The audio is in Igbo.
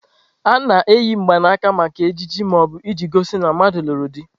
A na-eyi mgbanaka maka ejiji ma ọ bụ iji gosi na mmadu lụrụ di.